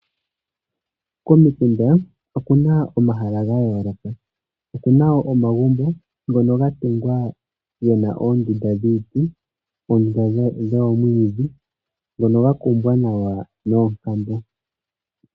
Komikunda okuna omahala ga yooloka okuna wo omagumbo ngono ga tungwa oondunda dhiiti nosho dhomwiidhi dhono dha kumwa nawa noonkambo.